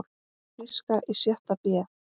Þýska í sjötta bé.